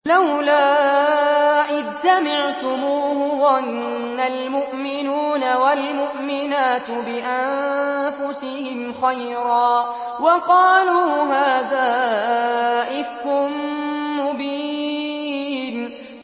لَّوْلَا إِذْ سَمِعْتُمُوهُ ظَنَّ الْمُؤْمِنُونَ وَالْمُؤْمِنَاتُ بِأَنفُسِهِمْ خَيْرًا وَقَالُوا هَٰذَا إِفْكٌ مُّبِينٌ